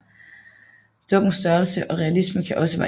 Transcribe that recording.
Dukkens størrelse og realisme kan også variere